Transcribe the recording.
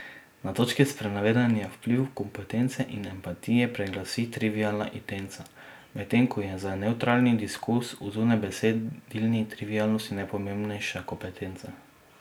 Na točki sprenevedanja vpliv kompetence in empatije preglasi trivialna intenca, medtem ko je za nevtralni diskurz o zunajbesedilni trivialnosti najpomembnejša kompetenca.